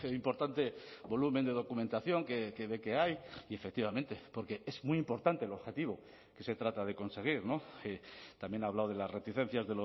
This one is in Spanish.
importante volumen de documentación que ve que hay y efectivamente porque es muy importante el objetivo que se trata de conseguir también ha hablado de las reticencias